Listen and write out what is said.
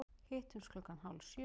Hittumst klukkan hálf sjö.